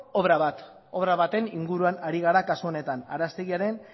obra bat obra baten inguruan ari gara kasu honetan araztegiaren